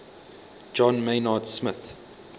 john maynard smith